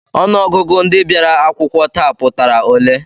Ọnụọgụgụ ndị bịara akwụkwọ taa pụtara ole?